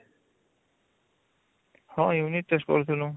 ହଁ unit test କରୁଥିଲୁ